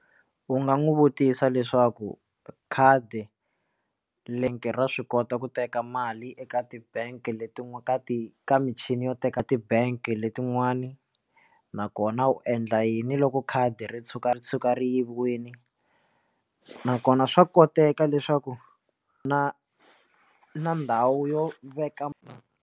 U nga n'wi vutisa leswaku khadi le nge ra swi kota ku teka mali eka tibange letin'wana ka ti ka michini yo teka tibange letin'wana nakona u endla yini loko khadi ro tshuka ri tshuka ri yiviwile nakona swa koteka leswaku na ku na ndhawu yo veka.